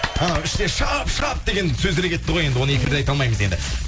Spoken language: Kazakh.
анау іште шап шап деген сөздер кетті ғой енді оны эфирде айта алмаймыз енді